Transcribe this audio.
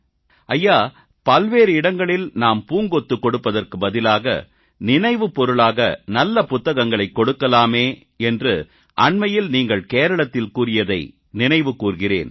ஐயா பல்வேறு இடங்களில் நாம் பூங்கொத்து கொடுப்பதற்கு பதிலாக நினைவுப் பொருளாக நல்ல புத்தகங்களைக் கொடுக்கலாமே என்று அண்மையில் நீங்கள் கேரளத்தில் கூறியதை நினைவு கூர்கிறேன்